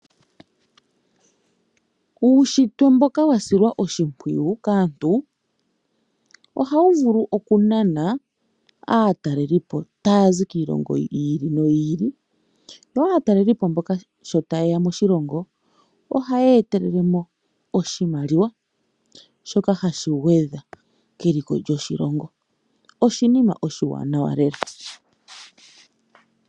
Uushitwe mboka wa silwa oshimpwiyu kaantu ohawu vulu okunana aatalelipo taya zi kiilongo yi ili noyi ili. Sho nduno aatalelipo mboka ta yeya moshilongo ohaya etelele oshimaliwa shoka hashi gwedha keliko lyoshilongo oshinima oshiwanawa lela.